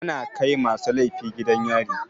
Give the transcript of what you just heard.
Ana kai masu laifi gidan yari.